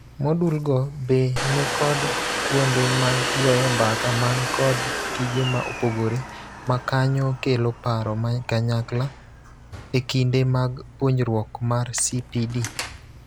Modulgo be ni kod kuonde mag goyo mbaka man kod tije ma opogore makonyo kelo paro makanyakla e kinde mag puonjruok mar CPD.